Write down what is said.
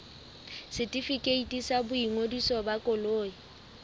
setefikeiti sa boingodiso ba koloi